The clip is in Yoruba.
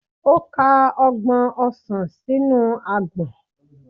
O ka ọgbọn osàn sinu agbọn..